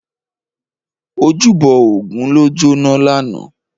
Ójúbò ógùn ló jóná làná